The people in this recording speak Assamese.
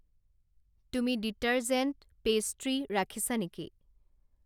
তুমি ডিটাৰজেন্ট, পেষ্ট্ৰি ৰাখিছা নেকি?